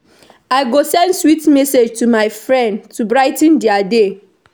I go send sweet message to my friend to brigh ten dia day.